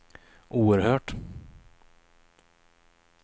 oerhört